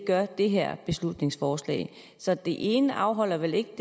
gør det her beslutningsforslag så det ene afholder vel ikke